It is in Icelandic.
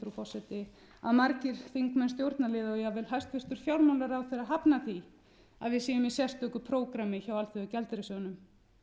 frú forseti að margir þingmenn stjórnarliða og jafnvel hæstvirtur fjármálaráðherra hafnar því að við séum í sérstöku prógrammi hjá alþjóðagjaldeyrissjóðnum